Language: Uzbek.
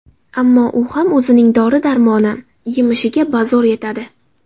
Ammo u ham o‘zining dori-darmoni, yemishiga bazo‘r yetadi.